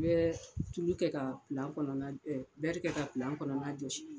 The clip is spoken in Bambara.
N bɛ tulu kɛ ka kɔnɔna, kɛ ka kɔnɔna jɔsi.